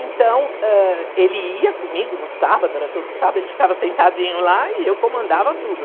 Então, ãh, ele ia comigo no sábado, era todo sábado, ele ficava sentadinho lá e eu comandava tudo.